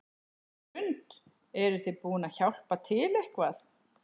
Hrund: Eruð þið búin að hjálpa til eitthvað?